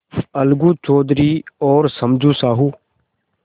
अलगू चौधरी और समझू साहु